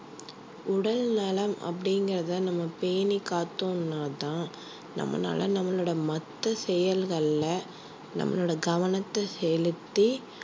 உடல் நலம் அப்படிங்கிறதை நம்ம பேணி காத்தோம்னா தான் நம்மளால நம்மளோட மத்த செயல்கள்ல நம்மளோட கவனத்தை செலுத்தி